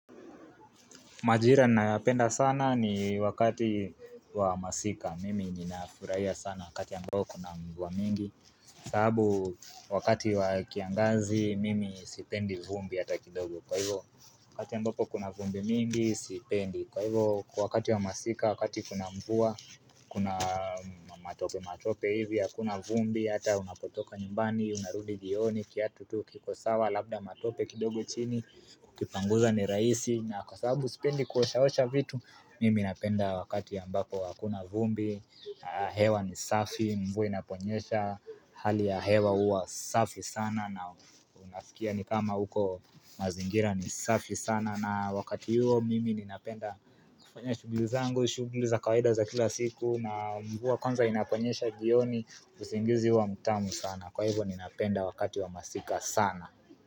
Majira ninayoyapenda sana ni wakati wa masika, mimi ninafurahia sana wakati ambao kuna mvua mingi sababu wakati wa kiangazi, mimi sipendi vumbi hata kidogo Kwa hivyo, wakati ambapo kuna vumbi mingi, sipendi. Kwa hivyo, wakati wa masika, wakati kuna mvua, kuna matope matope hivyo hakuna vumbi, hata unapotoka nyumbani, unarudi jioni, kiatu tu, kiko sawa, labda matope kidogo chini Kukipanguza ni rahisi na kwa sababu sipendi kuoshaosha vitu Mimi ninapenda wakati ambapo hakuna vumbi hewa ni safi, mvua inaponyesha Hali ya hewa huwa safi sana na unaskia ni kama huko mazingira ni safi sana na wakati huo mimi ninapenda kufanya shughuli zangu shughuli za kawaida za kila siku na mvua kwanza inaponyesha jioni usingizi huwa mtamu sana. Kwa hivyo ninapenda wakati wa masika sana.